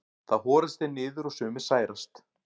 þá horast þeir niður og sumir særast